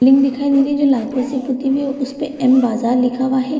लिंग दिखाई दे रही है जो लाल कलर से पुती हुई है उसपे एम बाजार लिखा हुआ है।